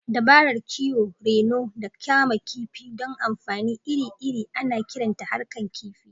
Dabarar kiwo, reno, da kama kifi don amfani iri-iri ana kiranta harkan kifi.